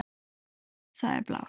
Það er blár.